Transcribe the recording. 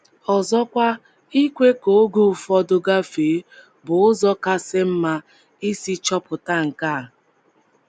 Ọzọkwa, ikwe ka oge ụfọdụ gafee bụ ụzọ kasị mma isi chọpụta nke a.